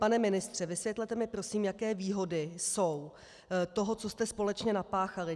Pane ministře, vysvětlete mi prosím, jaké výhody jsou toho, co jste společně napáchali.